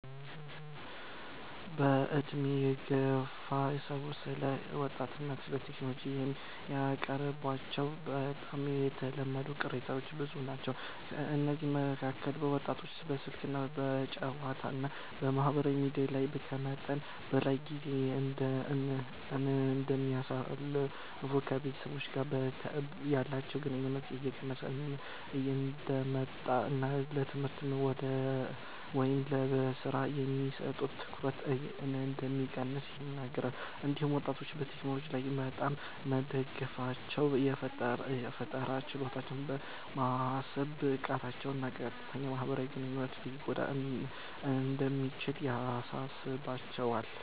በዕድሜ የገፉ ሰዎች ስለ ወጣቶች እና ቴክኖሎጂ የሚያቀርቧቸው በጣም የተለመዱ ቅሬታዎች ብዙ ናቸው። ከእነዚህ መካከል ወጣቶች በስልክ፣ በጨዋታዎች እና በማህበራዊ ሚዲያ ላይ ከመጠን በላይ ጊዜ እንደሚያሳልፉ፣ ከቤተሰብ ጋር ያላቸው ግንኙነት እየቀነሰ እንደሚመጣ እና ለትምህርት ወይም ለሥራ የሚሰጡት ትኩረት እንደሚቀንስ ይናገራሉ። እንዲሁም ወጣቶች በቴክኖሎጂ ላይ በጣም መደገፋቸው የፈጠራ ችሎታቸውን፣ የማሰብ ብቃታቸውን እና የቀጥታ ማህበራዊ ግንኙነታቸውን ሊጎዳ እንደሚችል ያሳስባቸዋል።